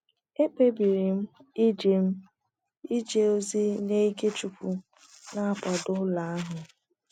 Ekpebiri m ije m ije ozi nye ike chukwu n'akwado ụlọ ahụ